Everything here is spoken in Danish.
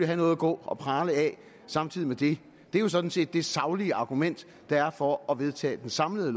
have noget at gå og prale af samtidig med det det er jo sådan set det saglige argument der er for at vedtage det samlede